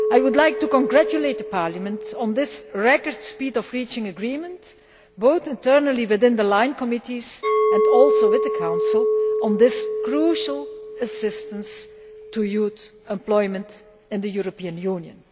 I would like to congratulate Parliament on the record time in which the agreement was reached, both internally within the line committees and also with the Council on this crucial assistance to Youth Employment in the European Union.